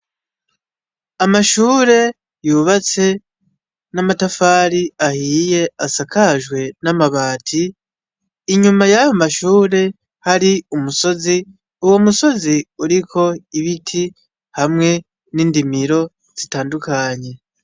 Amashure yubatse n'amatafari ahiye asakajwe n'amabati inyuma yayo mashure hari umusozi uwo musozi uriko ibiti hamwe n'indimiro zitandukanye.